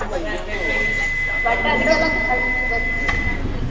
But ಅದಕೆಲ್ಲ .